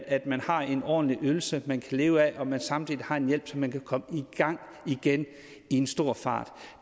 at man har en ordentlig ydelse man kan leve af og at man samtidig har en hjælp så man kan komme i gang igen i en fart